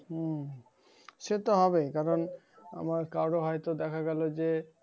উম সে তো হবে কারণ তোমার কারো হয়তো দেখা গেল যে,